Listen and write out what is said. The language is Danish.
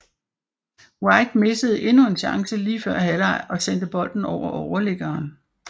White missede endnu en chance lige før halvleg og sendte bolden over overliggeren